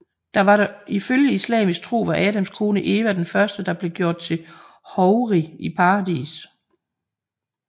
Ifølge islamisk tro var Adams kone Eva den første der blev gjort til houri i paradis